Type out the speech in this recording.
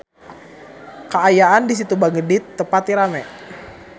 Kaayaan di Situ Bagendit teu pati rame